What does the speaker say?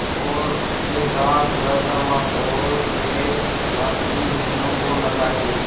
और उसके साथ वह थर्माकोल के पंख भी मीनू को लगा दिए